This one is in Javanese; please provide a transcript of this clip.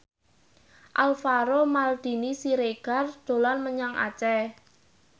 Alvaro Maldini Siregar dolan menyang Aceh